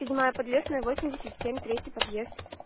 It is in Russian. седьмая подлесная восемьдесят семь третий подъезд